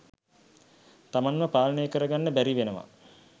තමන්ව පාලනය කරගන්න බැරිවෙනවා.